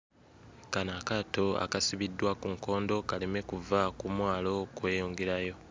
Kano akaato akasibiddwa ku nkondo kaleme kuva ku mwalo kweyongerayo.